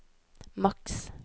maks